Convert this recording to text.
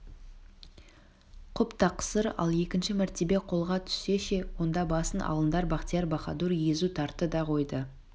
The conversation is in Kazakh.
құп тақсыр ал екінші мәртебе қолға түссе ше онда басын алыңдар бахтияр-баһадур езу тартты да қойды